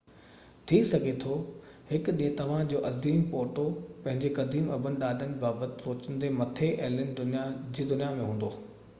ٿي سگهي ٿو هڪ ڏينهن توهان جو عظيم پوٽو پنهنجي قديم ابن ڏاڏن جي بابت سوچيندي مٿي ايلين جي دنيا ۾ هوندو